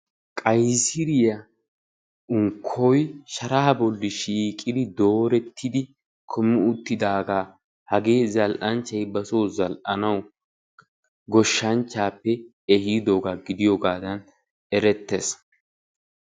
qayisiriya unkkoy sharaa bolli shiiqi doorettidi kumi uttidaagaa hagee zal'anchchay basoo zal'anawu goshshanchchaappe ehiidoogaa gidiyogaadan erettes.